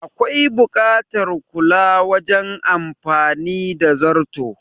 Akwai buƙatar kula wajen amfani da zarto